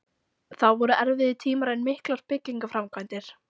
Þá voru erfiðir tímar en miklar byggingaframkvæmdir.